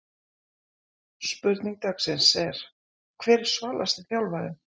Spurning dagsins er: Hver er svalasti þjálfarinn?